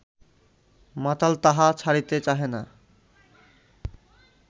মাতাল তাহা ছাড়িতে চাহে না